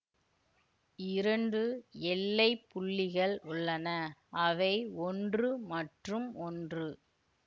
இரண்டு எல்லைப்புள்ளிகள் உள்ளன அவை ஒன்று மற்றும் ஒன்று